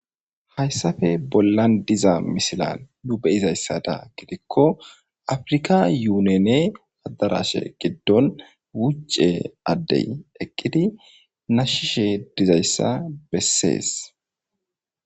hayssafe bollan diza misila nu beyizayssada gidikko afirika yuunene addarashe giddon wuce addey eqqidi nashshishe dizayssa bessees